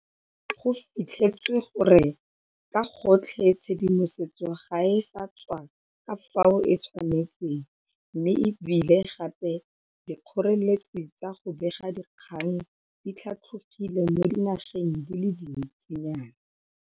Go fitlhetswe gore ka gotlhe tshedimosetso ga e sa tswa ka fao e tshwanetseng mme e bile gape dikgoreletsi tsa go bega dikgang di tlhatlogile mo dinageng di le dintsi nyana.